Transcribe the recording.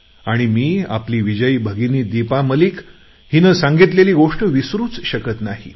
आणि मी आपली विजयी भगिनी दीपा मलिक हिनं सांगितलेली गोष्ट विसरूच शकत नाही